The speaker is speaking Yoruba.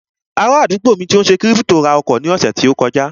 Ará àdúgbò mi tó n ṣe kírípítò ra ọkọ̀ ní ọ̀sẹ̀ tó kọjá